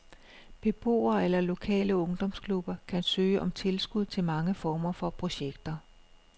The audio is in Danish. Beboere eller lokale ungdomsklubber kan søge om tilskud til mange former for projekter.